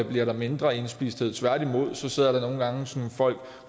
bliver der mindre indspisthed tværtimod sidder der nogle gange folk